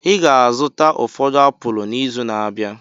Ị ga-azụta ụfọdụ apụl n'izu na-abịa.